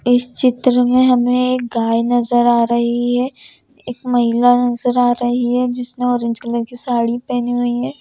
इस चित्र में हमें एक गाय नजर आ रही है एक महिला नजर आ रही है जिसने ऑरेंज कलर की साड़ी पहनी हुई है।